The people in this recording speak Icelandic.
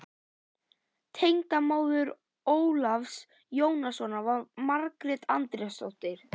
Tengdamóðir Ólafs Jónssonar var María Andrésdóttir.